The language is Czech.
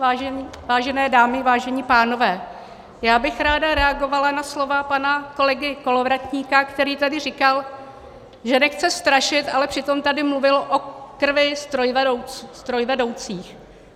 Vážené dámy, vážení pánové, já bych ráda reagovala na slova pana kolegy Kolovratníka, který tady říkal, že nechce strašit, ale přitom tady mluvil o krvi strojvedoucích.